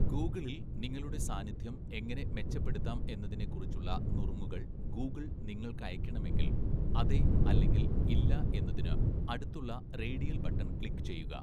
ഗൂഗിളിൽ നിങ്ങളുടെ സാന്നിധ്യം എങ്ങനെ മെച്ചപ്പെടുത്താം എന്നതിനെക്കുറിച്ചുള്ള നുറുങ്ങുകൾ ഗൂഗിൾ നിങ്ങൾക്ക് അയയ്‌ക്കണമെങ്കിൽ, അതെ അല്ലെങ്കിൽ ഇല്ല എന്നതിന് അടുത്തുള്ള റേഡിയൽ ബട്ടൺ ക്ലിക്ക് ചെയ്യുക.